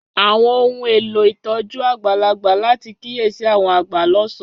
Àwọn ohun elo ìtójú àgbàlagbà láti kiyesi àwọn agba lọsan.